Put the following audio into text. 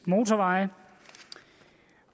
motorveje